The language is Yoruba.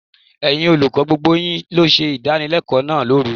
Ẹ̀yin olùkọ́, gbogbo yín ló ṣe ìdánilẹ́kọ̀ọ́ náà lóru.